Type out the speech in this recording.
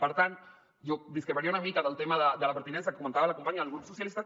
per tant jo discreparia una mica del tema de la pertinença que comentava la companya del grup socialistes